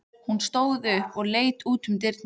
Hún stóð upp og leit út um dyrnar.